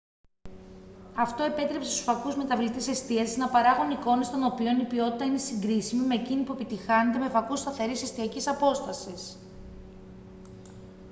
αυτό επέτρεψε στους φακούς μεταβλητής εστίασης να παράγουν εικόνες των οποίων η ποιότητα είναι συγκρίσιμη με εκείνη που επιτυγχάνεται με φακούς σταθερής εστιακής απόστασης